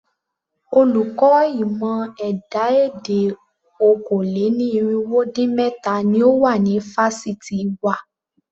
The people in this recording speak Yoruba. Olùkọ́ ìmọ̀ ẹ̀dá-èdè okòó-lé-ní-irínwó-dín-méta ni ó wà ní fásitì wa.